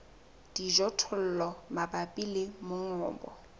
le dijothollo mabapi le mongobo